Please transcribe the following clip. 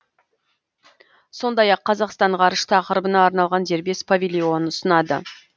сондай ақ қазақстан ғарыш тақырыбына арналған дербес павильон ұсынады